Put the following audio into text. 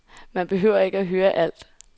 Man behøver ikke at høre alt.